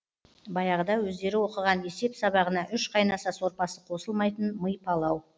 баяғыда өздері оқыған есеп сабағына үш қайнаса сорпасы қосылмайтын мый палау